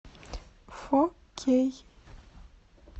фо кей